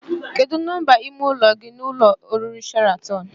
Kedụ nọmba ime ụlọ gị n'ụlọ oriri Sheratịn?